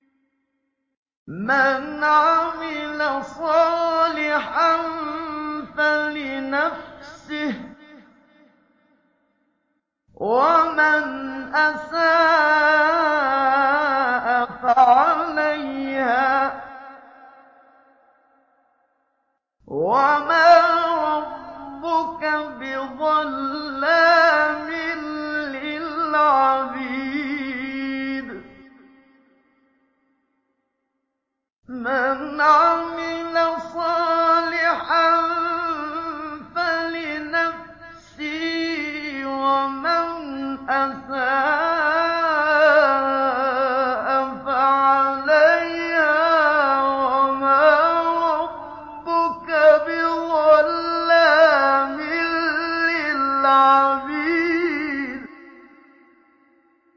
مَّنْ عَمِلَ صَالِحًا فَلِنَفْسِهِ ۖ وَمَنْ أَسَاءَ فَعَلَيْهَا ۗ وَمَا رَبُّكَ بِظَلَّامٍ لِّلْعَبِيدِ